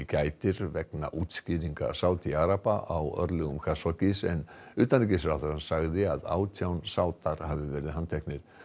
gætir vegna útskýringa Sádi araba á örlögum Khashoggis en utanríkisráðherrann sagði að átján Sádar hafi verið handteknir